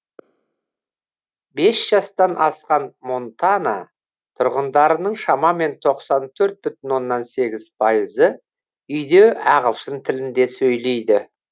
бес жастан асқан монтана тұрғындарының шамамен тоқсан төрт бүтін оннан сегіз пайызы үйде ағылшын тілінде сөйлейді